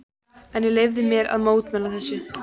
En ég leyfi mér að mótmæla þessu.